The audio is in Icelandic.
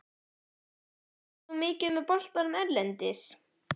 Fylgist þú mikið með boltanum erlendis?